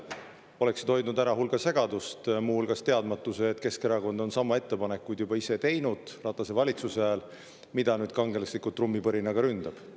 See oleks hoidnud ära hulga segadust, muu hulgas teadmatuse, et Keskerakond juba tegi Ratase valitsuse ajal sama ettepaneku, mida nüüd kangelaslikult trummipõrina saatel ründab.